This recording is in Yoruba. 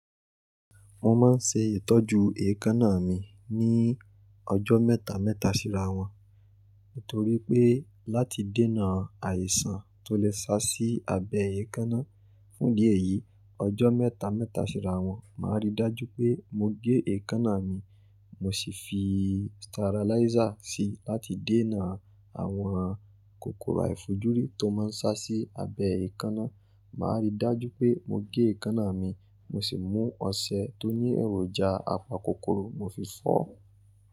Mo ma n se itoju eekanna mi ni ojo meta meta sira won nitori pe lati dena aisan to le sa si abe eekanna fun idi eyi ojo meta meta sira won ma ri daju pe mo ge eekanna mi mo si fi sterilizer si lati dena awon kokoro aifojuri to ma n sa si abe eekanna ma ri daju pe mo ge eekanna mi mo si mu ose to ni eroja apa kokoro mo fi fo.